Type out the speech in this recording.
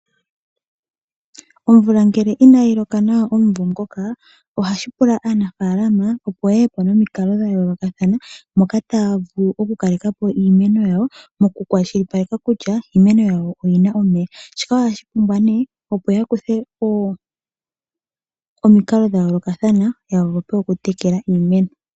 Omvula ngele inayi loka nawa omumvo ngoka ohashi pula aanafaalama opo yeye po nomikalo dhayoolokathana moka taya vulu okukaleka po iimeno yawo mokukwashilipaleka kutya iimeno yawo oyina omeya. Shika ohashi pumbwa opo yakuthe omikalo dhayoolokathana yavule okutekela iimeno.